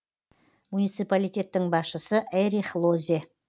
муниципалитеттің басшысы эрих лозе